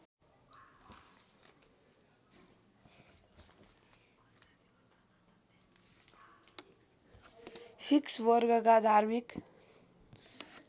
fix वर्गका धार्मिक